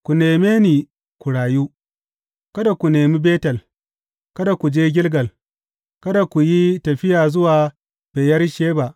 Ku neme ni ku rayu; kada ku nemi Betel, kada ku je Gilgal, kada ku yi tafiya zuwa Beyersheba.